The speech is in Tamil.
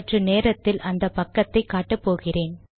சற்று நேரத்தில் அந்த பக்கத்தை காட்ட போகிறேன்